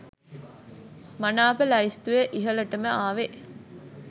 මනාප ලයිස්තුවේ ඉහලටම ආවේ